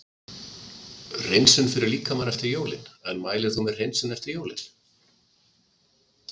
Hreinsun fyrir líkamann eftir jólin En mælir þú með hreinsun eftir jólin?